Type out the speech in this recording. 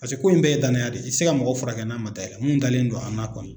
Paseke ko in bɛɛ ye danaya de ye i tɛ se ka mɔgɔ fura kɛ n'a man da i la munnu dalen do an na kɔni.